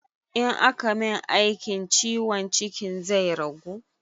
In aka min aikin ciwon cikin zai ragu?